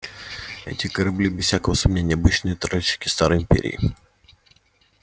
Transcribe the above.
эти корабли без всякого сомнения обычные тральщики старой империи